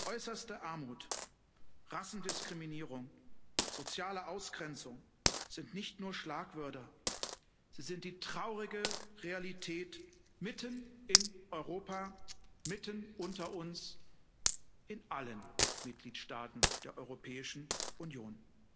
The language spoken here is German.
Äußerste Armut, Rassendiskriminierung, soziale Ausgrenzung sind nicht nur Schlagwörter, sie sind die traurige Realität mitten in Europa, mitten unter uns in allen Mitgliedstaaten der Europäischen Union.